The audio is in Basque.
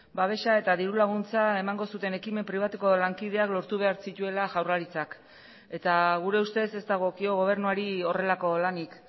babesa eta dirulaguntza emango zuten ekimen pribatuko lankideak lortu behar zituela jaurlaritzak eta gure ustez ez dagokio gobernuari horrelako lanik